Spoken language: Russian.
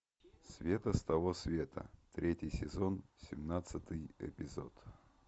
света с того света третий сезон семнадцатый эпизод